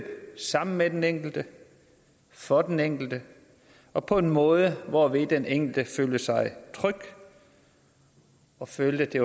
sammen med den enkelte for den enkelte og på en måde hvorved den enkelte føler sig tryg og føler at det